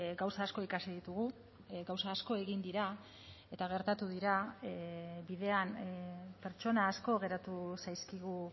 gauza asko ikasi ditugu gauza asko egin dira eta gertatu dira bidean pertsona asko geratu zaizkigu